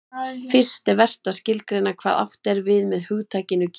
fyrst er vert að skilgreina hvað átt er við með hugtakinu kína